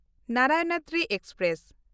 Narayanadri express